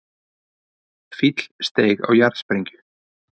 Fíll steig á jarðsprengju